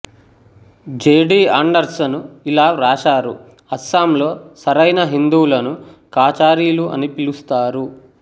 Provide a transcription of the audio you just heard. JD Anderson ఇలా వ్రాశారు అస్సాంలో సరైన హిందువులను కాచారీలు అని పిలుస్తారు